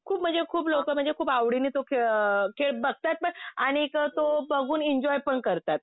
खूप म्हणजे खूप लोकं म्हणजे खूप आवडीने तो खेळ, खेळ बघतात पण. आणि तो बघून एन्जॉयपण करतात.